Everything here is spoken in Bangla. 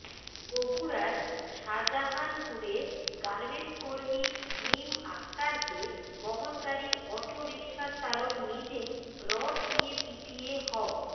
বগুড়ার শাজাহানপুরে গার্মেন্টকর্মী মিম আক্তারকে বহনকারী আটোরিকশা চালক নিজেই রড দিয়ে পিটিয়ে হ